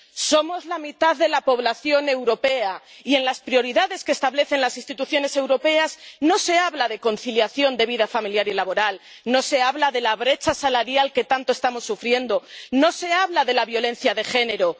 Somos la mitad de la población europea y en las prioridades que establecen las instituciones europeas no se habla de conciliación de la vida familiar y laboral, no se habla de la brecha salarial que tanto estamos sufriendo, no se habla de la violencia de género.